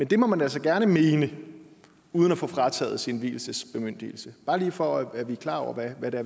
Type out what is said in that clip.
det må man altså gerne mene uden at få frataget sin vielsesbemyndigelse bare lige for at vi er klar over hvad det